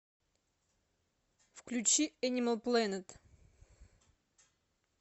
включи энимал плэнет